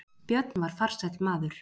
Björn var farsæll maður.